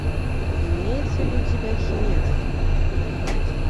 имеется ли у тебя химера